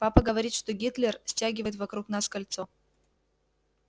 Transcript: папа говорит что гитлер стягивает вокруг нас кольцо